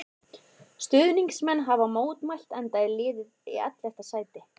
Stuðningsmenn hafa mótmælt enda er liðið í ellefta sæti.